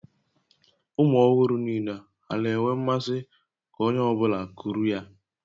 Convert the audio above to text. Ụmụ ọhụrụ niile a na-enwe mmasị ka onye ọ bụla kuru ya?